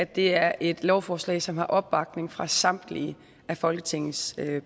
det er et lovforslag som har opbakning fra samtlige folketingets